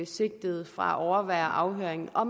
sigtede fra at overvære afhøringen og